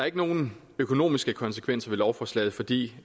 ikke nogen økonomiske konsekvenser ved lovforslaget fordi